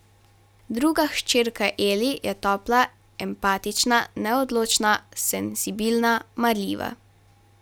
Druga hčerka Eli je topla, empatična, neodločna, senzibilna, marljiva.